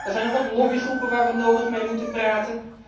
Er zijn nog wat lobbygroepen waar we nodig mee moeten praten.